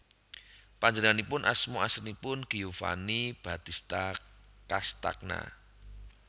Panjenenganipun asma aslinipun Giovanni Battista Castagna